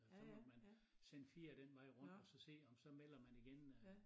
Så måtte man sende 4 den vej rundt og så se om så melder man igen øh